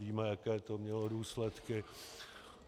Víme, jaké to mělo důsledky.